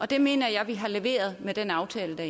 det mener jeg at vi har leveret med den aftale der